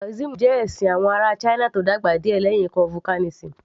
Taoism jẹ́ ẹ̀sìn àwọn ará china tó dàgbà díẹ̀ lẹ́yìn confucianism